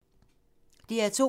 DR2